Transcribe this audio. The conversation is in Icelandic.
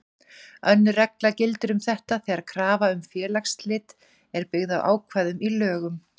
Önnur regla gildir um þetta þegar krafa um félagsslit er byggð á ákvæðum í lögum.